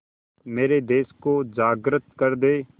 मेरे देश को जागृत कर दें